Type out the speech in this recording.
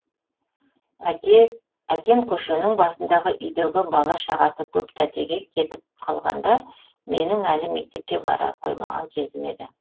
әкем көшенің басындағы үйдегі бала шағасы көп тәтеге кетіп қалғанда менің әлі мектепке бара қоймаған кезім еді